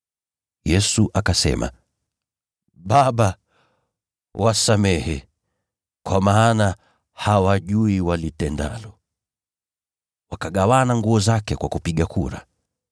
Yesu akasema, “Baba, wasamehe, kwa maana hawajui walitendalo!” Wakagawana nguo zake kwa kupiga kura.